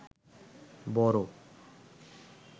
বড়